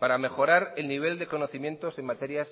para mejorar el nivel de conocimientos en materias